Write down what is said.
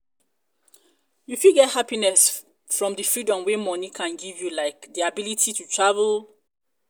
you fit get happiness from di freedom wey money can give you like di ability to travel. to travel.